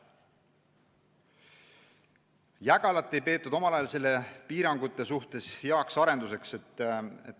Jägalat ei peetud omal ajal selle piiratuse mõttes heaks arenduseks.